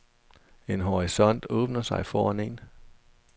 En horisont åbner sig foran en.